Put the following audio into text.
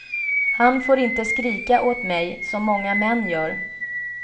Han får inte skrika åt mig, som många män gör.